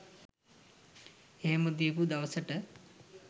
එහෙම දීපු දවසට